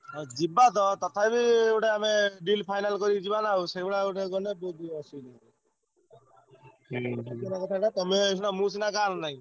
ହଁ ଯିବା ତ ତଥାପି ଗୋଟେ ଆମେ deal final କରି ଯିବା ନା ଆଉ ସେଇଭଳିଆ ଗୋଟେ ଗଲେ ତମେ ସିନା ମୁଁ ସିନା ଗାଁରେ ନାଇଁ।